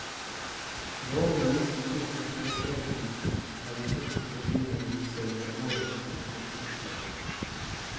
Grove misbruk av streikeretten har vi sett i forbindelse med årets inntektsoppgjør.